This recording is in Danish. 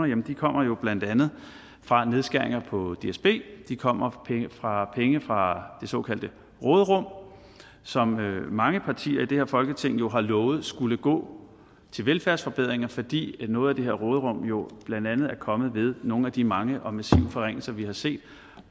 jamen de kommer jo blandt andet fra nedskæringer på dsb de kommer fra penge fra det såkaldte råderum som mange partier i det her folketing har lovet skulle gå til velfærdsforbedringer fordi noget af det her råderum jo blandt andet er kommet ved nogle af de mange og massive forringelser vi har set